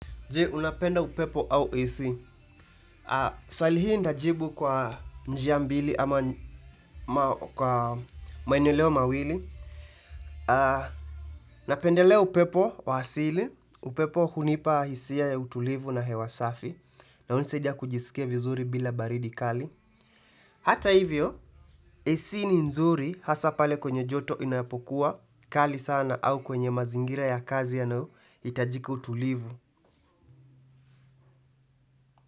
Je, unapenda upepo au AC? Swali hii nitajibu kwa njia mbili ama kwa maeneleo mawili. Napendelea upepo wa asili, upepo hunipa hisia ya utulivu na hewa safi. Na hunisaidia kujisikia vizuri bila baridi kali. Hata hivyo, AC ni nzuri haswa pale kwenye joto inapokuwa kali sana au kwenye mazingira ya kazi yanayohitajika utulivu.